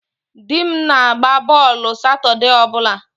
Di m na-agba bọọlụ Satọde ọ bụla.